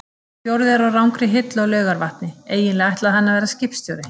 Sá fjórði er á rangri hillu á Laugarvatni- eiginlega ætlaði hann að verða skipstjóri.